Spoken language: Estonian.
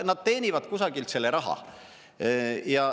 Nad teenivad kusagilt selle raha.